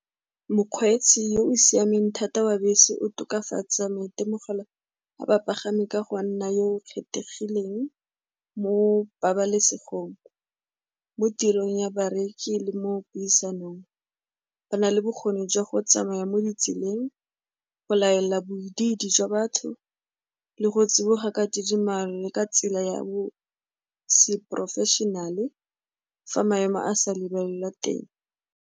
Mokgweetsi yo o siameng thata wa bese o tokafatsa maitemogelo a bapagami ka go nna yo o kgethegileng mo pabalesegong, mo tirong ya bareki, le mo puisanong, ba na le bokgoni jwa go tsamaya mo ditseleng, go laela bobididi jwa batho, le go tsiboga ka tidimalo, ka tsela ya bo se-professional-e, fa maemo a sa lebelela teng.